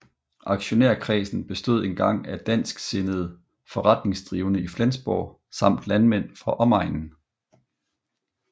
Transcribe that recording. Aktionærskredsen bestod dengang især af dansksindede forretningsdrivende i Flensborg samt landmænd fra omegnen